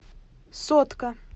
сотка